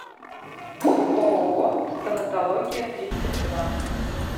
ооо стоматология тридцать два